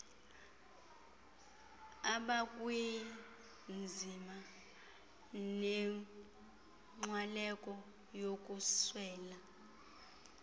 abakwinzima nenkxwaleko yokuswela